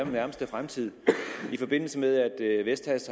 nærmeste fremtid i forbindelse med at vestas